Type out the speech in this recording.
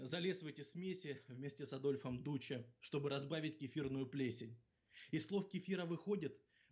залез в эти смеси вместе с адольфом дуча чтобы разбавить кефирную плесень из слов кефира выходит